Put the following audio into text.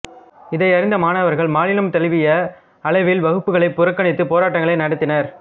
இதையறிந்த மாணவர்கள் மாநிலந்தழுவிய அளவில் வகுப்புகளைப் புறக்கணித்துப் போராட்டங்களை நடத்தினர்